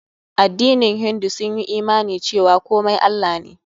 Addinin hindu sun yi imani cewa komai Allah ne.